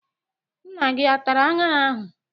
Nna gị atara aṅara ahụ?